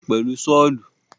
Wọ́n gé pákó náà pẹ̀lú Ṣọ́ọ̀lù.